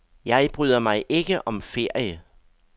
Jeg bryder mig ikke om ferie.